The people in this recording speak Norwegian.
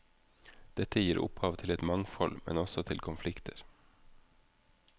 Dette gir opphav til et mangfold, men også til konflikter.